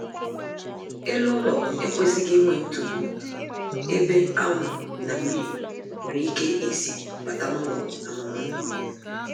Elu ụlọ ekwesịghị inwe ntupu ebe anwụ na mmiri nwere ike isi bata n'ụlọ anụmaanụ